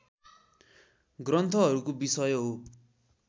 ग्रन्थहरूको विषय हो